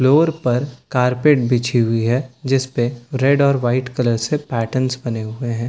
Floor पर carpet बिछी हुई है जिस पे रेड और व्हाइट कलर से पैटर्न बने हुए हैं।